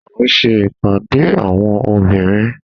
A n ṣe ipade awọn obinrin